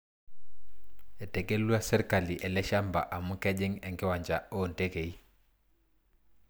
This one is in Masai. Etegelua serkali ele shamba amu kejing enkiwanja oo ntekei.